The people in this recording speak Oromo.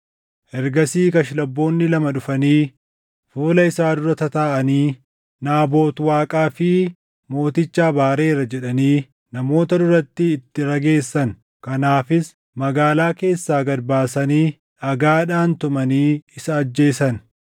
Ergasii Kashlabboonni lama dhufanii fuula isaa dura tataaʼanii, “Naabot Waaqaa fi mooticha abaareera” jedhanii namoota duratti itti rageessan. Kanaafis magaalaa keessaa gad baasanii dhagaadhaan tumanii isa ajjeesan.